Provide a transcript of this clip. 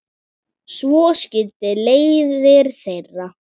Svo skildi leiðir þeirra.